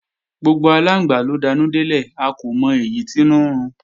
Gbogbo aláǹgbá ló danú délẹ̀, a kò mọ èyí tínú ń run